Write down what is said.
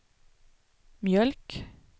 mjölk